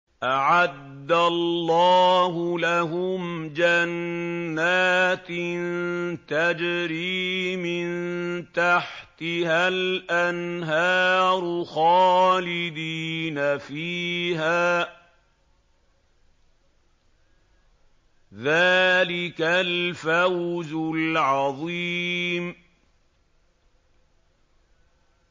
أَعَدَّ اللَّهُ لَهُمْ جَنَّاتٍ تَجْرِي مِن تَحْتِهَا الْأَنْهَارُ خَالِدِينَ فِيهَا ۚ ذَٰلِكَ الْفَوْزُ الْعَظِيمُ